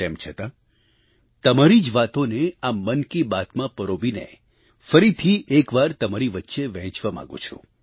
તેમ છતાં તમારી જ વાતોને આ મન કી બાતમાં પરોવીને ફરીથી એક વાર તમારી વચ્ચે વહેંચવા માગું છું